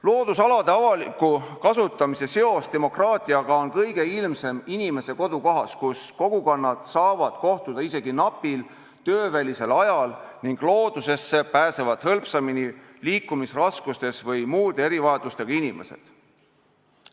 Loodusalade avaliku kasutamise seos demokraatiaga on kõige ilmsem inimese kodukohas, kui kogukonnad saavad kohtuda isegi napil töövälisel ajal ning loodusesse pääsevad hõlpsamini liikumisraskustes või muude erivajadustega inimesed.